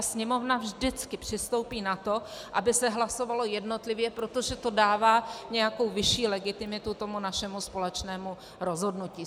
A Sněmovna vždycky přistoupí na to, aby se hlasovalo jednotlivě, protože to dává nějakou vyšší legitimitu tomu našemu společnému rozhodnutí.